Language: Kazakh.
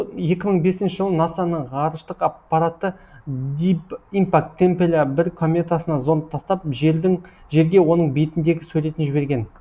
екі мың бесінші жылы наса ның ғарыштық аппараты дип импакт темпеля бір кометасына зонт тастап жердің жерге оның бетіндегі суретін жіберген